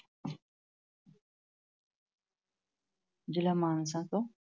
ਜਿਲ੍ਹਾ ਮਾਨਸਾ ਤੋਂ